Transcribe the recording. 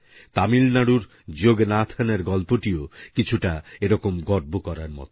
তামিলনাড়ুরযোগনাথনের গল্পটিও কিছুটা এরকমই গর্ব করার মত